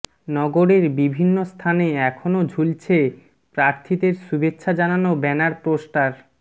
নগরের বিভিন্ন স্থানে এখনও ঝুলছে প্রার্থীদের শুভেচ্ছা জানানো ব্যানার পোস্টার